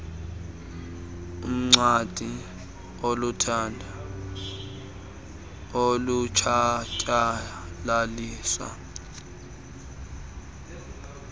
uncwadi olulutho alutshatyalaliswa